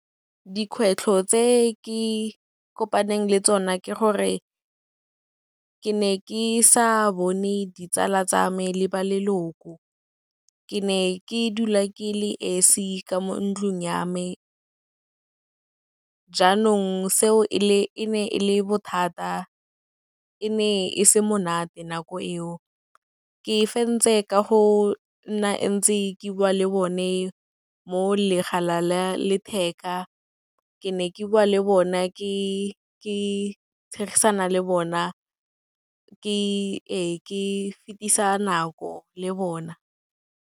Dikgwetlho tse ke kopaneng le tsona ke gore, ke ne ke sa bone ditsala tsa me le ba leloko, ke ne ke dula ke le esi ka mo ntlung ya me. Jaanong seo e ne e le bothata, e ne e se monate nako eo, ke fentse ka go nna ntse ke bua le bone mo la letheka, ke ne ke bua le bona ke tshegisana le bona, ee, ke fetisa nako le bona.